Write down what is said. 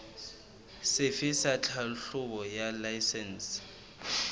sefe sa tlhahlobo ya laesense